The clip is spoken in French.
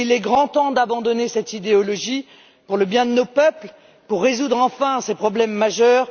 Il est grand temps d'abandonner cette idéologie, pour le bien de nos peuples, pour résoudre enfin ces problèmes majeurs.